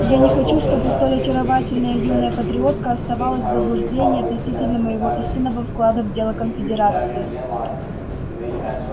я не хочу чтобы столь очаровательная юная патриотка оставалась в заблуждении относительно моего истинного вклада в дело конфедерации